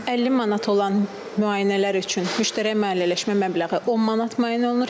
50 manat olan müayinələr üçün müştərək maliyyələşmə məbləği 10 manat müəyyən olunur.